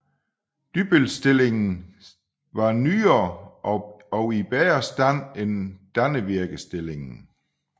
Dybbølstillingen var nyere og i bedre stand end Dannevirkestillingen